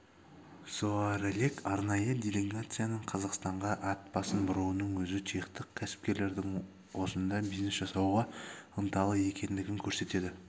заоралек арнайы делегацияның қазақстанға ат басын бұруының өзі чехтық кәсіпкерлердің осында бизнес жасауға ынталы екендігін көрсетеді